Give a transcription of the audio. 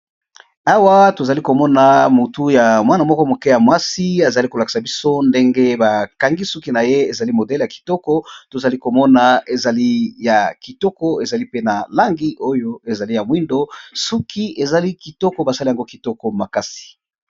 Awa tozali komona motu ya mwana moko moke ya mwasi azali kolakisa biso ndenge bakangi suki na ye, ezali modele ya kitoko, tozali komona ezali ya kitoko ezali pe na langi oyo ezali ya mwindo suki ezali kitoko basali yango kitoko makasi.